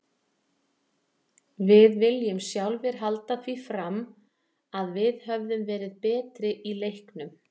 Við viljum sjálfir halda því fram að við höfum verið betri í leiknum.